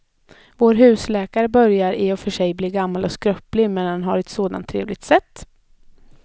Vår husläkare börjar i och för sig bli gammal och skröplig, men han har ju ett sådant trevligt sätt!